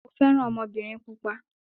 Mo fẹ́ràn ọmọbìnrin pupa.